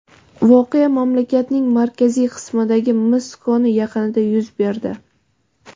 Voqea mamlakatning markaziy qismidagi mis koni yaqinida yuz berdi.